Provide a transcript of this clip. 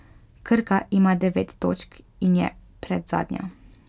Krka ima devet točk in je predzadnja.